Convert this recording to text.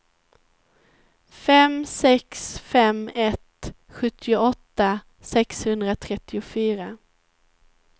fem sex fem ett sjuttioåtta sexhundratrettiofyra